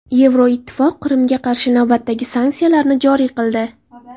Yevroittifoq Qrimga qarshi navbatdagi sanksiyalarni joriy qildi.